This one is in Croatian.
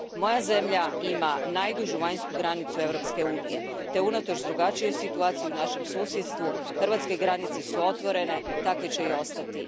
Moja zemlja ima najdužu vanjsku granicu Europske unije te unatoč drugačijoj situaciji u našem susjedstvu, hrvatske granice su otvorene, takve će i ostati.